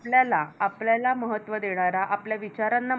आपल्याला आपल्याला महत्त्व देणारा आपल्या विचारांना